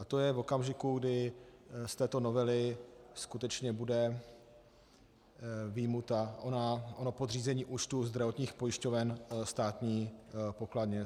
A to je v okamžiku, kdy z této novely skutečně bude vyjmuto ono podřízení účtů zdravotních pojišťoven státní pokladně.